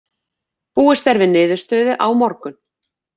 Búist er við niðurstöðu á morgun.